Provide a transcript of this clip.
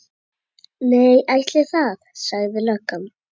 Nei, ætli það, sagði löggan.